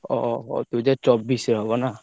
ଅହୋ! ଦୁଇହଜାର ଚବିଶିରେ ହବ ନା।